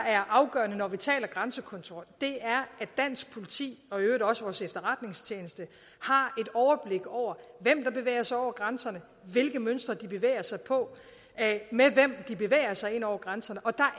er afgørende når vi taler om grænsekontrol er at dansk politi og i øvrigt også vores efterretningstjeneste har et overblik over hvem der bevæger sig over grænserne hvilke mønstre de bevæger sig på med hvem de bevæger sig ind over grænserne og der